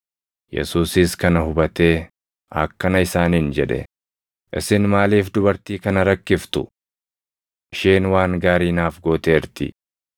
Yesuusis kana hubatee akkana isaaniin jedhe; “Isin maaliif dubartii kana rakkiftu? Isheen waan gaarii naaf gooteerti.